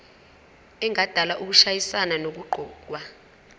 engadala ukushayisana nokuqokwa